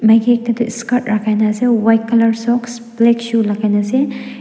maki ekta toh skirt lakai na ase white colour socks black shoe lakaina ase.